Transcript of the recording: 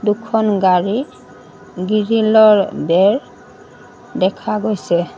দুখন গাড়ী গিৰিলৰ বেৰ দেখা গৈছে।